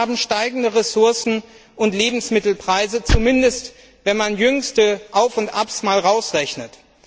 Und wir haben steigende Ressourcen und Lebensmittelpreise, zumindest wenn man das jüngste Auf und Ab mal rausrechnet.